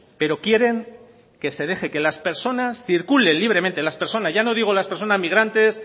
pero quieren que se deje que las personas circulen libremente las personas ya no digo las persona migrantes